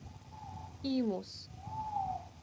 имус